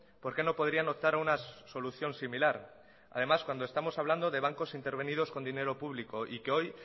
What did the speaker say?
por qué no podrían optar a una solución similar además cuando estamos hablando de bancos intervenidos con dinero público y que hoy